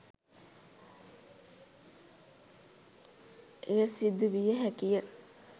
එය සිදු විය හැකිය.